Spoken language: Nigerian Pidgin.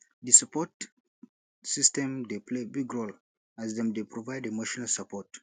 di support system dey play big role as dem dey provide emotional support